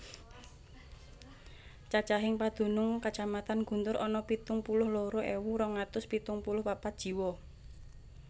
Cacahing padunung Kacamatan Guntur ana pitung puluh loro ewu rong atus pitung puluh papat jiwa